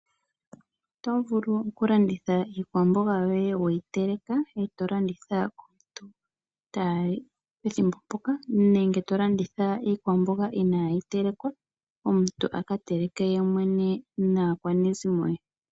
Otovulu okulanditha iikwambogaa yoye weyi teleka eto landitha komuntu pethimbo mpoka, nenge tolanditha iikwamboga inaa yi telekwa, omuntu aka teleke yemwene naakwanezimo ye .